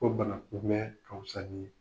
Ko bana kumɛɛn ka wusa nii